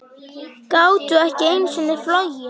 Gátu ekki einu sinni flogið.